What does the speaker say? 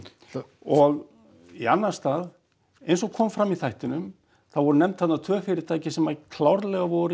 og í annan stað eins og kom fram í þættinum þá voru nefnd þarna tvö fyrirtæki sem klárlega voru